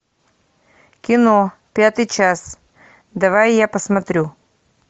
кино пятый час давай я посмотрю